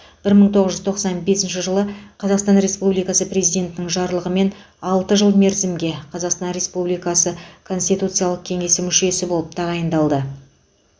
бір мың тоғыз жүз тоқсан бесінші жылы қазақстан республикасы президентінің жарлығымен алты жыл мерзімге қазақстан республикасы конституциялық кеңесі мүшесі болып тағайындалды